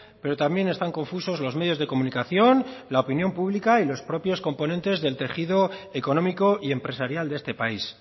pero también están confusos los medios de comunicación la opinión pública y los propios componentes del tejido económico y empresarial de este país